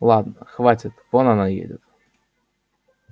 ладно хватит вон она едет